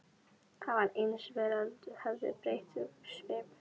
Það var eins og veröldin hefði breytt um svip.